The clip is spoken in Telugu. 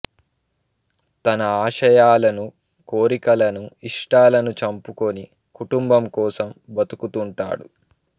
తన ఆశయాలను కోరికలను ఇష్టాలను చంపుకొని కుటుంబం కోసం బతుకుతుంటాడు